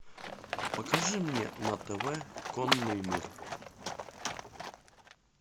покажи мне на тв конный мир